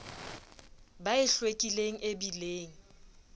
ba e hlwekileng e bileng